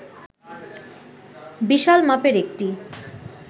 বিশাল মাপের একটি